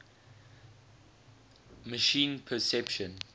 machine perception